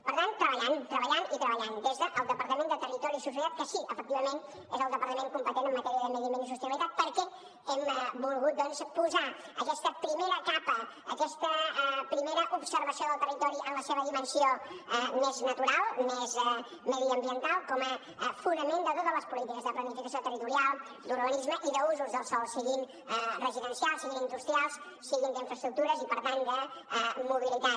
per tant treballant treballant i treballant des del departament de territori i sostenibilitat que sí que efectivament és el departament competent en matèria de medi ambient i sostenibilitat perquè hem volgut doncs posar aquesta primera capa aquesta primera observació del territori en la seva dimensió més natural més mediambiental com a fonament de totes les polítiques de planificació territorial d’urbanisme i d’usos del sòl siguin residencials siguin industrials siguin d’infraestructures i per tant de mobilitat